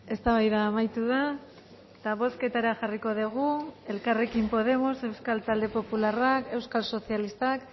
eztabaida amaitu da eta bozketara jarriko dugu elkarrekin podemos euskal talde popularrak euskal sozialistak